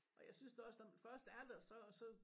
Og jeg synes da også når man først er der så så